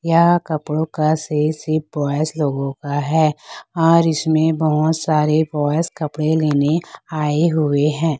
यह कपड़ों का सेल सिर्फ बॉयज लोगोंका है और इसमें बहोत सारे बॉयज कपड़े लेने आए हुए हैं।